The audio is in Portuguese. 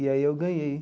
E aí eu ganhei.